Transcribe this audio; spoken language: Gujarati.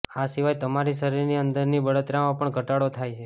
આ સિવાય તમારી શરીરની અંદરની બળતરામાં પણ ઘટાડો થાયછે